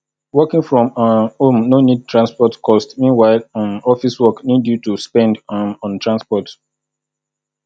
working from um home no need transport cost meanwhile um office work need you to spend um on transport